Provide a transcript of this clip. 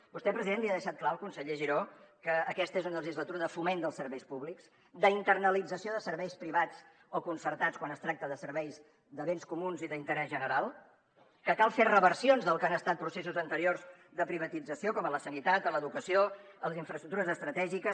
vostè president li ha deixat clar el conseller giró que aquesta és una legislatura de foment dels serveis públics d’internalització de serveis privats o concertats quan es tracta de serveis de béns comuns i d’interès general que cal fer reversions del que han estat processos anteriors de privatització com en la sanitat o l’educació les infraestructures estratègiques